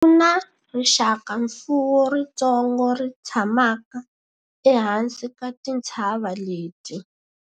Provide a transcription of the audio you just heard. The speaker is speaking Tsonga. ku na rixakamfuwo ritsongo ri tshamaka ehansi ka tintshava leti